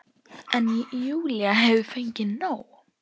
En Júlía hefur fengið nóg.